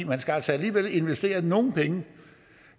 man skal altså alligevel investere nogle penge